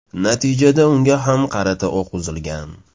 Natijada unga ham qarata o‘q uzilgan.